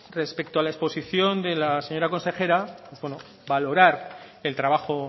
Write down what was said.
respecto a la exposición de la señora consejera pues bueno valorar el trabajo